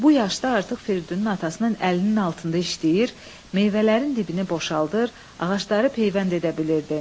Bu yaşda artıq Firidunun atasının əlinin altında işləyir, meyvələrin dibini boşaldır, ağacları peyvənd edə bilirdi.